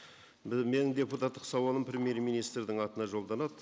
менің депутаттық сауалым премьер министрдің атына жолданады